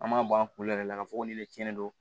An b'a bɔ an kunkolo yɛrɛ la k'a fɔ ko ne de tiɲɛnen don